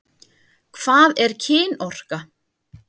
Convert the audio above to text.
Hvað er kynorka?